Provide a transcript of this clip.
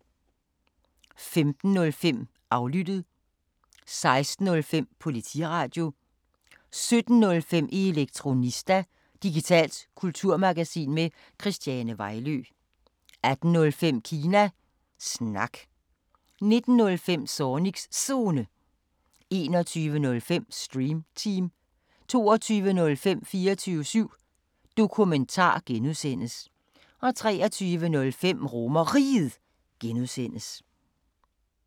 15:05: Aflyttet 16:05: Politiradio 17:05: Elektronista – digitalt kulturmagasin med Christiane Vejlø 18:05: Kina Snak 19:05: Zornigs Zone 21:05: Stream Team 22:05: 24syv Dokumentar (G) 23:05: RomerRiget (G)